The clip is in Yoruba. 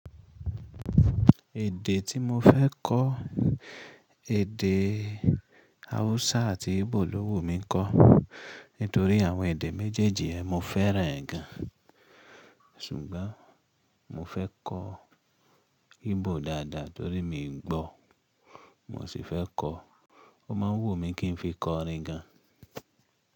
Èdè tí mo fẹ́ kọ, èdè Hausa àti Igbo lówu mi ń kọ. Nítorí àwọn èdè méjèèjì ẹ́ mo fẹ́ràn gan. Ṣùgbọ́n mo fẹ́ kọ Igbo dáadáa torí mi gbọ́, n mo sì fẹ́ kọ. Ó máa wù mí kí n fi kọ orin gan.